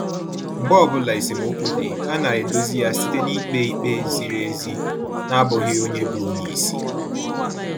Mgbe ọbụla esemokwu dị, ha na edozi ya site na-ikpe ikpe ziri ezi na abụghị onye bụ onyeisi